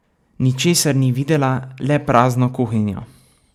Ničesar ni videla, le prazno kuhinjo.